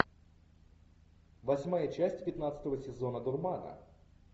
восьмая часть пятнадцатого сезона дурмана